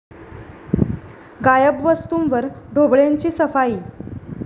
गायब वस्तूंवर ढोबळेंची 'सफाई'